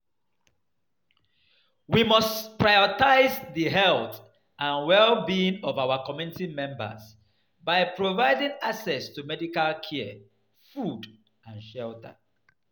We must prioritize di health and well-being of our community members by providing access to medical care, food and shelter.